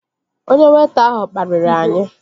Onye weịta ahụ kpariri anyị